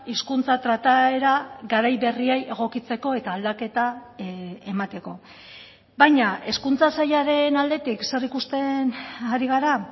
hizkuntza trataera garai berriei egokitzeko eta aldaketa emateko baina hezkuntza sailaren aldetik zer ikusten ari gara